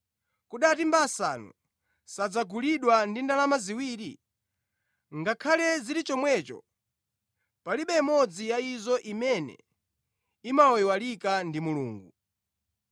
Kodi atimba asanu samagulidwa ndi ndalama ziwiri? Ngakhale zili chomwecho palibe imodzi ya izo imene imayiwalika ndi Mulungu.